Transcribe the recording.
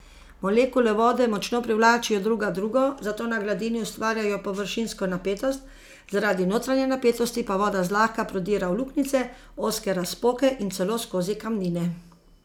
Molekule vode močno privlačijo druga drugo, zato na gladini ustvarjajo površinsko napetost, zaradi notranje napetosti pa voda zlahka prodira v luknjice, ozke razpoke in celo skozi kamnine.